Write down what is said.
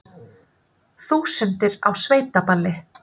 Þúsundir á sveitaballi